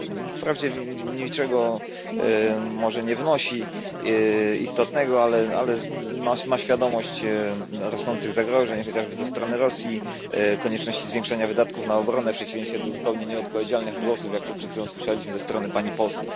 Wprawdzie może niczego istotnego nie wnosi, ale przemawia przez nie świadomość rosnących zagrożeń, chociażby ze strony Rosji, i konieczności zwiększania wydatków na obronę, w przeciwieństwie do zupełnie nieodpowiedzialnych głosów jak ten, który przed chwilą słyszeliśmy ze strony pani Post.